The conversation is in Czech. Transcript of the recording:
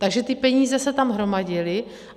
Takže ty peníze se tam hromadily.